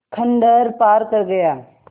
खंडहर पार कर गया